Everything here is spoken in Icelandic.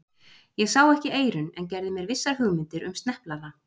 Ég sá ekki eyrun, en gerði mér vissar hugmyndir um sneplana.